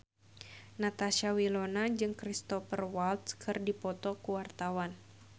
Natasha Wilona jeung Cristhoper Waltz keur dipoto ku wartawan